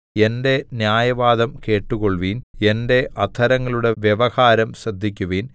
എന്റെ ന്യായവാദം കേട്ടുകൊൾവിൻ എന്റെ അധരങ്ങളുടെ വ്യവഹാരം ശ്രദ്ധിക്കുവിൻ